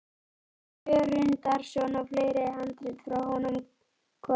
Jörundarson og fleiri handrit frá honum komin.